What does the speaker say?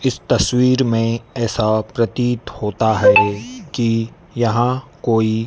इस तस्वीर में ऐसा प्रतीत होता है कि यहां कोई--